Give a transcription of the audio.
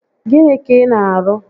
Gịnị ka ị na arụ?